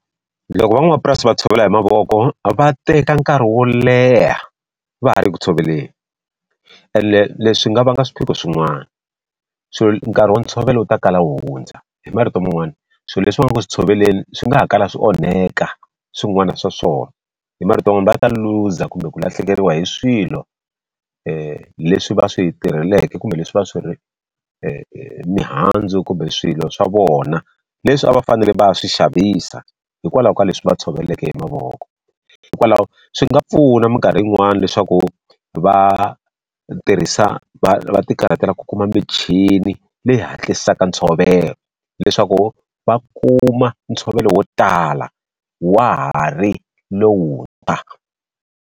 Loko van'wamapurasi va tshovela hi mavoko, va teka nkarhi wo leha va ha ri ku tshoveleni. Ene leswi nga vanga swiphiqo swin'wana, nkarhi wa ntshovelo wu ta kala wu hundza. Hi marito man'wani, swilo leswi va nga ku swi tshoveleni swi nga ha kalaka swi onhaka swin'wana swa swona, hi marito man'wani va ta luza kumbe ku lahlekeriwa hi swilo leswi va swi tirheleke kumbe leswi va swi mihandzu kumbe swilo swa vona leswi a va fanele va ya swi xavisa hikwalaho ka leswi va tshoveleke hi mavoko. Hikwalaho swi nga pfuna minkarhi yin'wani leswaku va tirhisa va va ti karhatela ku kuma michini leyi hatlisaka ntshovelo, leswaku va kuma ntshovelo wo tala wa ha ri lowuntshwa.